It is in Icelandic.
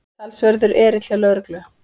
Talsverður erill hjá lögreglu